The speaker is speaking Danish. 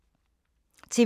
TV 2